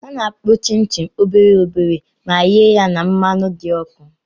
Ana-akpụ chịn chịn obere obere ma ghee ya na mmanụ dị ọkụ.